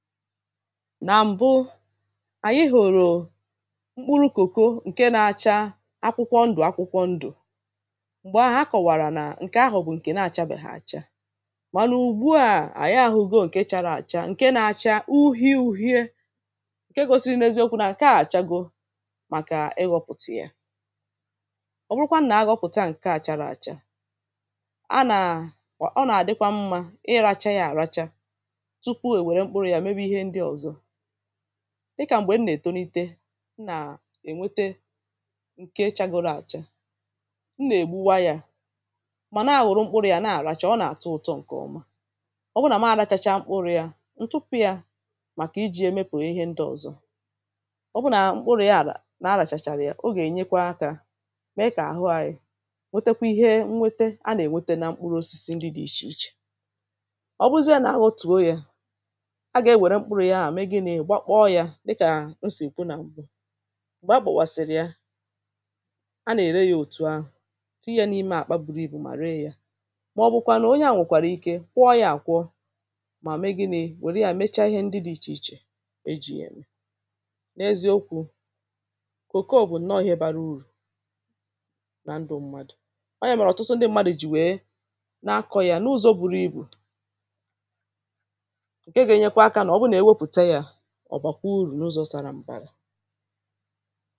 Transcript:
ànyị hụ̀rụ̀ mkpụrụ cocoa ǹke na-ȧcha akwụkwọ ndù akwụkwọ ndù m̀gbè ahụ̀ akọ̀wàrà nà ǹkè ahụ̀ bụ̀ ǹkè na-àchabè ha àcha mànà ùgbu à ànyị ahụ go ǹke chara àcha ǹke nȧ-ȧcha uhi uhie ǹke gȯsi n’eziokwu nà ǹka àchago màkà ịghọ̇pụ̀tụ̀ ya ọ bụrụkwa nà agọ̇pụ̀ta ǹkè àchàrọ̀ àcha a nà ọ nà-àdịkwa mmȧ iracha yȧ àracha ị kà m̀gbè m nà-ètonite m nà-ènwete ǹke chagoro àcha m nà-ègbuwa ya mà na-ahụ̀rụ mkpụrụ̇ ya na-àràchà ọ nà-àtụ ụ̀tọ ǹkè ọma ọ bụ nà ma adachacha mkpụrụ̇ ya ǹtụpụ ya màkà iji̇ emepù ihe ndị ọ̀zọ ọ bụ nà mkpụrụ̇ ya àlà na aràchàchàrà ya o gà-ènyekwa akȧ mee kà àhụ anyị nwetekwa ihe nwete a nà-ènwete nà mkpụrụ osisi ndị dị̇ ichè ichè ọ bụzịa nà aghọ̇ otùo ya gbakpọ̇ yȧ dịkà m sì kwu nà m̀gbu m̀gbè a gbọ̀kwàsị̀rị̀ ya a nà-ère yȧ òtù ahụ̀ tii yȧ n’ime àkpa buru ibù mà ree yȧ màọ̀bụ̀kwànụ̀ onye à nwèkwàrà ike kwọọ yȧ àkwọ mà me gi̇ni̇ wère yȧ mecha ihe ndị dị̇ ichè ichè e jì yà n’ezi okwu̇ kòko bụ̀ nnọọ̇ ihe bara urù na ndụ̇ mmadụ̀ ọ yà màọ̀rụ̀ ọ̀tụtụ ndị mmadụ̀ jì wèe na-akọ̇ yȧ n’ụzọ̇ buru ibù ọ̀bàkwuru̇ n’ụzọ̇ sara m̀bara